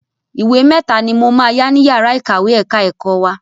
Ìwé mẹ́ta ni mo máa yá ní yàrá ìkàwé ẹ̀ka ẹ̀kọ́ wa.